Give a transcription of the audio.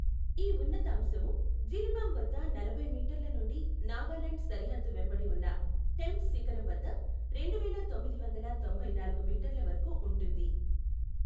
ఈ ఉన్నతాంశము జిరిబామ్ వద్ద నలభై మీటర్ల నుండి నాగాలాండ్ సరిహద్దు వెంబడి ఉన్న టెంప్ శిఖరం వద్ద రెండువేల తొమ్మిది వందల తొంభైనాలుగు మీటర్ల వరకు ఉంటుంది.